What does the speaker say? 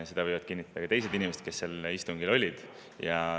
Seda võivad kinnitada ka teised inimesed, kes sel istungil olid.